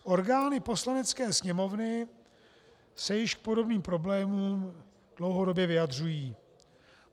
Orgány Poslanecké sněmovny se již k podobným problémům dlouhodobě vyjadřují.